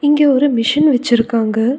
இங்க ஒரு மெஷின் வச்சிருக்காங்க.